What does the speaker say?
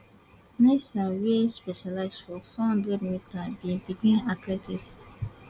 nasear wey specialise for four hundred metres bin begin athletics